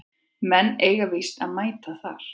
Menn eiga víst að mæta þar